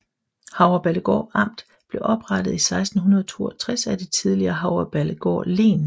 Havreballegård Amt blev oprettet i 1662 af det tidligere Havreballegård Len